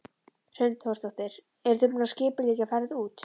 Hrund Þórsdóttir: Eruð þið búin að skipuleggja ferð út?